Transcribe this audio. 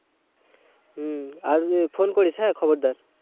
হম আর phone করিস হ্যাঁ খবরদার।